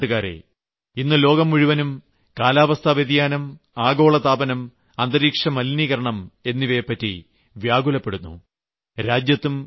എന്റെ പ്രിയപ്പെട്ട നാട്ടുകാരേ ഇന്ന് ലോകം മുഴുവൻ കാലാവസ്ഥാവ്യതിയാനം ആഗോളതാപനം അന്തരീക്ഷം എന്നിവയെപ്പറ്റി വ്യാകുലപ്പെടുന്നു